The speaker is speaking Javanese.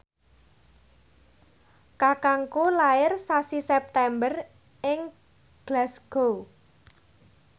kakangku lair sasi September ing Glasgow